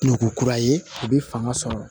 Nugu kura ye u bɛ fanga sɔrɔ